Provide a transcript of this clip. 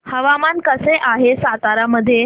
हवामान कसे आहे सातारा मध्ये